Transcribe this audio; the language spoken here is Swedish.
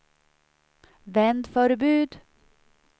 vändförbud